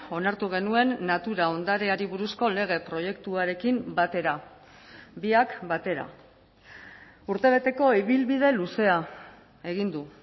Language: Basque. onartu genuen natura ondareari buruzko lege proiektuarekin batera biak batera urtebeteko ibilbide luzea egin du